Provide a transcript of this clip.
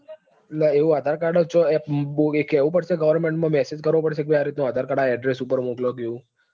એટલે એવું આધાર card જ હોય કેવું પડશે government માં message કરવો પડશે કે આ રીત નું આધાર card આ address પર મોકલો કે એવું?